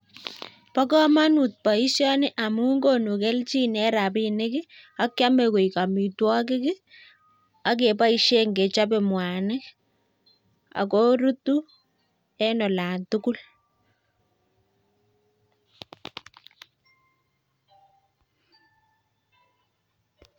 Mo komonut boishoni amun konu kelchin en rabinik ak kiome koik amitwogik ak keboishen kechobe mwanik ak korutu en olantugul.